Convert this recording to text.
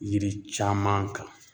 Yiri caman kan.